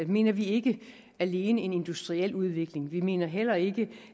mener vi ikke alene en industriel udvikling vi mener heller ikke